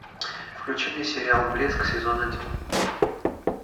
включи мне сериал блеск сезон один